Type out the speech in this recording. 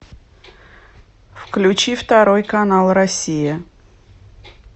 включи второй канал россия